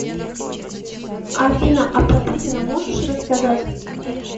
афина а про путина можешь рассказать